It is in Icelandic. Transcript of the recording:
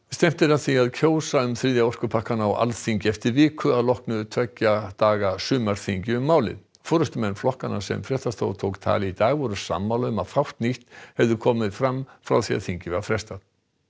stefnt er að því að kjósa um þriðja orkupakkann á Alþingi eftir viku að loknu tveggja daga sumarþingi um málið forystumenn flokkanna sem fréttastofa tók tali í dag voru sammála um að fátt nýtt hefði komið fram frá því að þingi var frestað